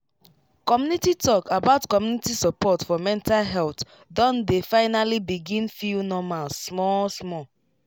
community talk about community support for mental health don dey finally begin feel normal small small